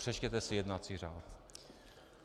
Přečtěte si jednací řád.